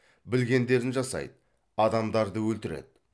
білгендерін жасайды адамдарды өлтіреді